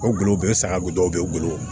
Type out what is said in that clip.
O golobɛ saga bɛ dɔw bɛ bolo